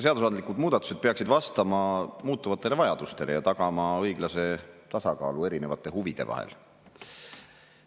Seadusandlikud muudatused peaksid vastama muutuvatele vajadustele ja tagama õiglase tasakaalu erinevate huvide vahel.